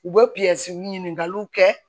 U bɛ ɲininkaliw kɛ